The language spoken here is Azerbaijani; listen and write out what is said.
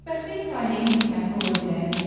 Xoşbəxtlik taleyin qisməti ola bilərmi?